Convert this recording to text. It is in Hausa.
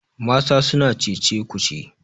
mata suna Cece ku ce